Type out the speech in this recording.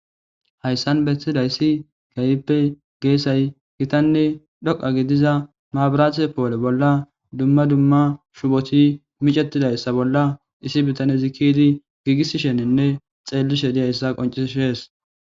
Hayssan beetidayssi gayppe geessay gitanne dhoqa gidiza maabiratse poole bolla dumma dumma shupoti micetidayssa bolla isi bitane zikidi giigii shenenne xeelli she diyayssa qoncishees.